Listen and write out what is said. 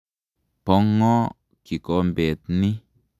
Po ng'o kikombet ni?